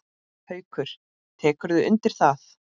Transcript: Haukur: Tekurðu undir það?